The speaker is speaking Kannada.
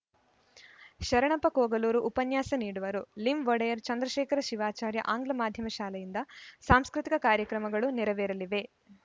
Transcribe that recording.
ಶರಣಪ್ಪ ಕೋಗಲೂರು ಉಪನ್ಯಾಸ ನೀಡುವರು ಲಿಂಒಡೆಯರ್‌ ಚಂದ್ರಶೇಖರ ಶಿವಾಚಾರ್ಯ ಆಂಗ್ಲ ಮಾಧ್ಯಮ ಶಾಲೆಯಿಂದ ಸಾಂಸ್ಕೃತಿಕ ಕಾರ್ಯಕ್ರಮಗಳು ನೆರವೇರಲಿವೆ